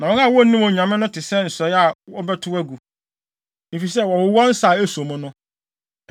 Na wɔn a wonnim Onyame no te sɛ nsɔe a wɔbɛtow agu, efisɛ wɔwowɔ nsa a eso mu no.